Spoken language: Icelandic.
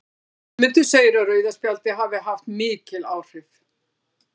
Guðmundur segir að rauða spjaldið hafi haft mikil áhrif.